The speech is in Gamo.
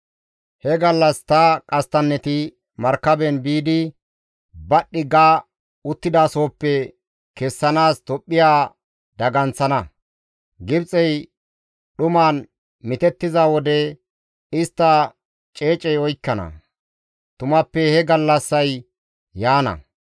«He gallas ta qasttanneti markaben biidi badhdhi ga uttidasohoppe kessanaas Tophphiya daganththana; Gibxey dhuman mitettiza wode istta ceecey oykkana; tumappe he gallassay yaana».